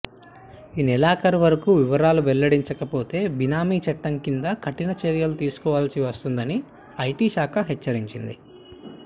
ఈ నెలాఖరువరకు వివరాలు వెల్లడించకపోతే బినామీ చట్టం కింద కఠినచర్యలు తీసుకోవాల్సి వస్తోందని ఐటిశాఖ హెచ్చరించింది